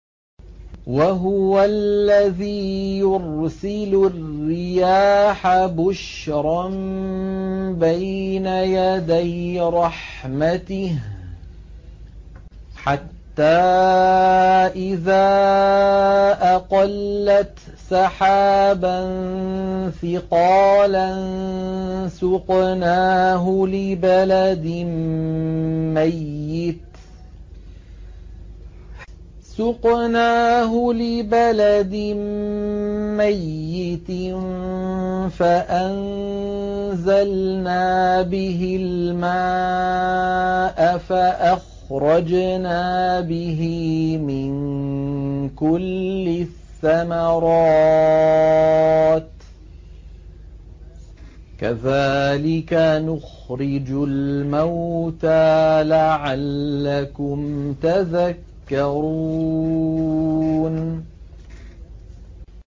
وَهُوَ الَّذِي يُرْسِلُ الرِّيَاحَ بُشْرًا بَيْنَ يَدَيْ رَحْمَتِهِ ۖ حَتَّىٰ إِذَا أَقَلَّتْ سَحَابًا ثِقَالًا سُقْنَاهُ لِبَلَدٍ مَّيِّتٍ فَأَنزَلْنَا بِهِ الْمَاءَ فَأَخْرَجْنَا بِهِ مِن كُلِّ الثَّمَرَاتِ ۚ كَذَٰلِكَ نُخْرِجُ الْمَوْتَىٰ لَعَلَّكُمْ تَذَكَّرُونَ